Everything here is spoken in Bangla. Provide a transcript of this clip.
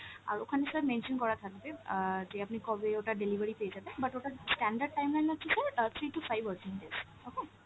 আর ওখানে sir mention করা থাকবে অ্যাঁ যে আপনি কবে ওটা delivery পেয়ে যাবেন, but ওটার standard time হচ্ছে sir অ্যাঁ three to five working days okay।